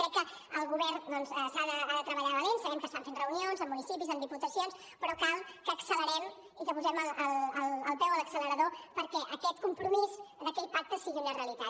crec que el govern doncs ha de treballar de valent sabem que estan fent reunions amb municipis amb diputacions però cal que accelerem i que posem el peu a l’accelerador perquè aquest compromís d’aquell pacte sigui una realitat